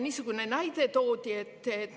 Toodi näide.